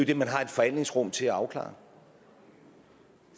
det man har et forhandlingsrum til at afklare